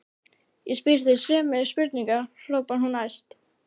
Ég spyr þig sömu spurningar, hrópar hún æst.